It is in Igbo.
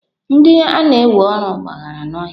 Ndị a na-ewe ọrụ gbagara n'ọhịa.